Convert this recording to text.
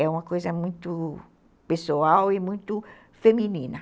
É uma coisa muito pessoal e muito feminina.